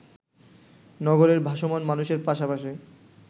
নগরীর ভাসমান মানুষের পশাপাশি